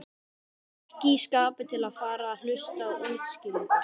Ekki í skapi til að fara að hlusta á útskýringar.